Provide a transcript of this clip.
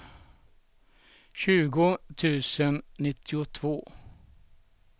tjugo tusen nittiotvå